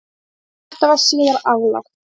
Þetta var síðar aflagt